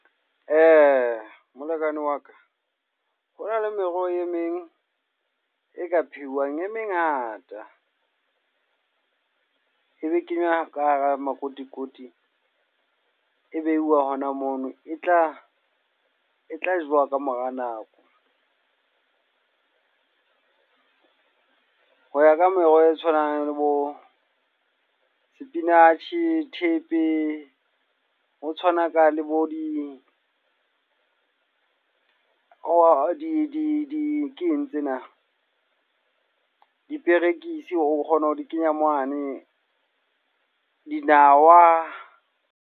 Molekane wa ka. Ho na le meroho e meng e ka phehuwang e mengata. E be kenywa ka hara makotikoti, e beiwa hona mono. E tla e tla jewa ka mora nako. Ho ya ka meroho e tshwanang le bo spinach, thepe, ho tshwanaka le bo di keng tsena. Diperekisi o kgona ho di kenya mane, dinawa.